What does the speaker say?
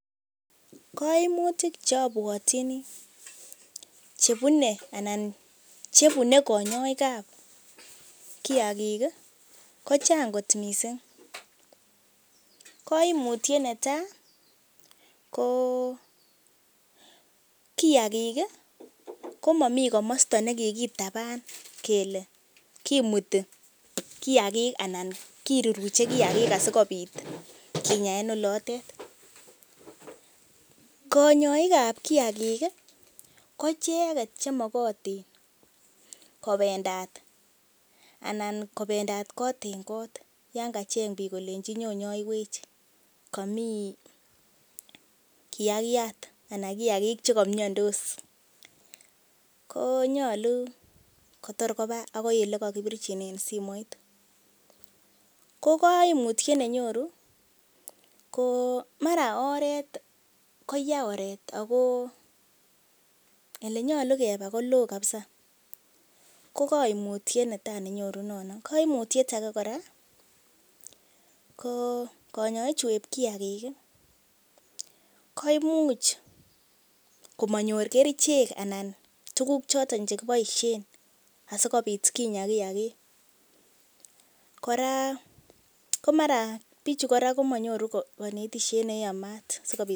Koimutik che abwatyini chebune anan chebune kanyoik ab kiyagik ko chang kot mising. Ko koimutyet netai ko; kiyagik komomi komosta ne kikitaban kele kimuti kiyagik anan kiruruche kiyagik asikobit kinya en olotet, Koyogik ab kiyagik ko icheget chemogotin kobendat kot en kot yon kacheng temik kole nyon inyoiywech komi kiyagik che komiandos. Ko nyolu kotor kobaagoi ole kagibirchinen simoit. Ko kaimutyet ne nyoru ko mara ko oret ko ya oret ago ole nyolu keba koloo kabisa ko kaimutiet netai nenyoru nono. Kaimutiet age kora ko kanyoik chu eb kiyagik koimuch komanyor kerichek anan tuguk choto che kiboisie asikobit kinya kiyagik kora komara bichu komanyoru konetishet neyamat.